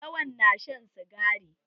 Lawan na shan sigari.